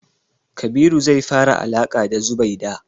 Kabiru zai fara alaƙa da Zubaida.